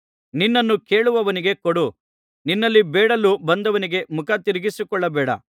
ನಿನ್ನನ್ನು ಕೇಳುವವನಿಗೆ ಕೊಡು ನಿನ್ನಲ್ಲಿ ಬೇಡಲು ಬಂದವನಿಗೆ ಮುಖ ತಿರುಗಿಸಿಕೊಳ್ಳಬೇಡ